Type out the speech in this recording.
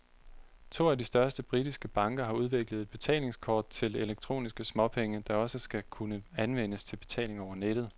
To af de største britiske banker har udviklet et betalingskort til elektroniske småpenge, der også skal kunne anvendes til betaling over nettet.